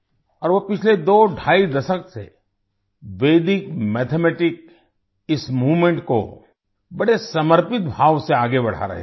और वो पिछले दोढाई दशक से वैदिक मैथमेटिक्स इस मूवमेंट को बड़े समर्पित भाव से आगे बढ़ा रहे हैं